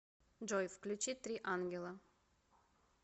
джой включи три ангела